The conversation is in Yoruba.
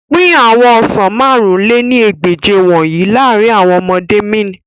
Pin awọn ọsan màrún lé ní ẹgbẹ́je wọnyi laarin awọn ọmọde mean